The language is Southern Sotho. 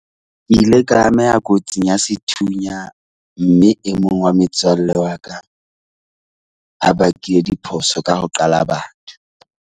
Ke ile ka ameha kotsing ya sethunya mme e mong wa metswalle wa ka a bakile diphoso ka ho qala batho.